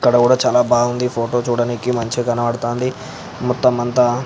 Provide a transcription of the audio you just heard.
ఇక్కడ కూడా చానా బాగుంది ఫోటో మంచిగా కనబడుతుంది. మొతం అంత --